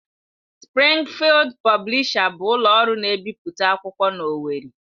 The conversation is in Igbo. Sprịngfịld Pọblisha bụ ụlọ ọrụ na-ebipụta akwụkwọ n'Owerri